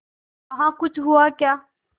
वहाँ कुछ हुआ क्या